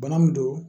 Bana min don